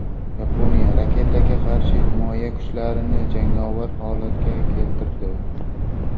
Yaponiya raketaga qarshi himoya kuchlarini jangovar holatga keltirdi.